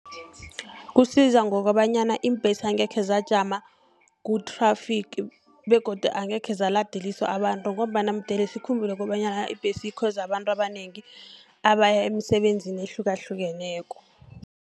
Kusiza ngokobanyana iimbhesi angekhe zajama ku-Traffic, begodu angekhe zaladelisa abantu, ngombana mdele sikhumbule kobanyana ibhesi ikhweza abantu abanengi, abaya emisebenzini ehlukahlukeneko.